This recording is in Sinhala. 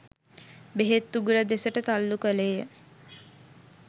බෙහෙත් උගුර දෙසට තල්ලු කළේය